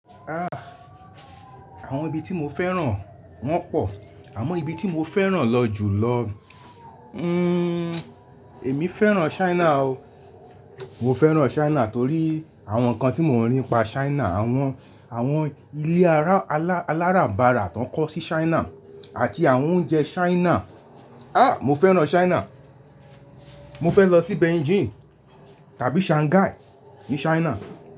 Ah! Àwọn ibi tí mo fẹ́ràn wọ́n pọ̀, àmọ́ ibi tí mo fẹ́ràn lọ jù lọ, hmm, èmi fẹ́ràn China o. Mo fẹ́ràn China torí àwọn nǹkan tí mo rí pa China, àwọn, àwọn ilé ará-- alárànbarà tó woń kọ́ sí China àti àwọn oúnjẹ China. Ah, mo fẹ́ràn China. Mo fẹ́ lọ sí Beijing tàbí Shanghai ní China.